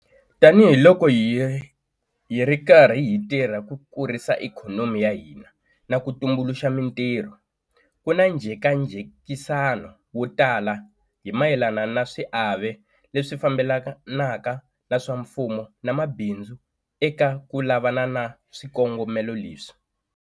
Tanihiloko hi ri karhi hi tirha ku kurisa ikhonomi ya hina na ku tumbuluxa mitirho, ku na njhekajekisano wo tala hi mayelana na swiave leswi fambelanaka swa mfumo na mabindzu eka ku lavana na swikongomelo leswi.